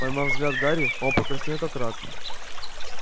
поймав взгляд гарри он покраснел как рак